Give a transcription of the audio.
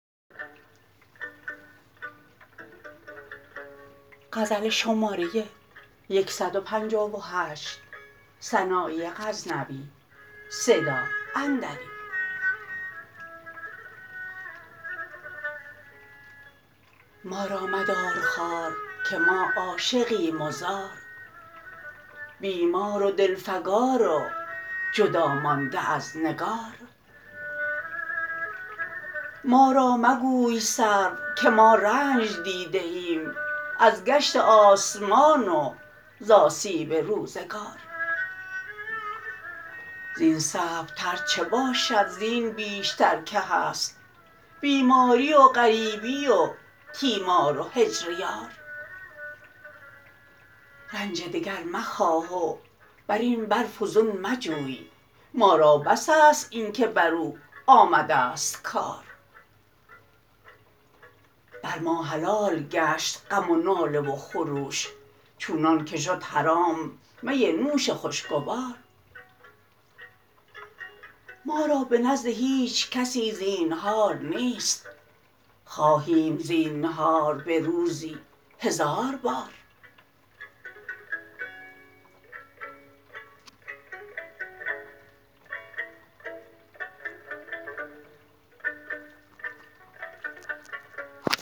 ما را مدار خوار که ما عاشقیم و زار بیمار و دل فگار و جدا مانده از نگار ما را مگوی سرو که ما رنج دیده ایم از گشت آسمان وز آسیب روزگار زین صعب تر چه باشد زین بیشتر که هست بیماری و غریبی و تیمار و هجر یار رنج دگر مخواه و برین بر فزون مجوی ما را بس است اینکه بر او آمده ست کار بر ما حلال گشت غم و ناله و خروش چونان که شد حرام می نوش خوشگوار ما را به نزد هیچ کسی زینهار نیست خواهیم زینهار به روزی هزار بار